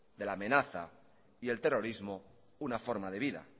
de la amenaza y el terrorismo una forma de vida